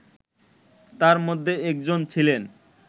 তার মধ্যে একজন ছিলেন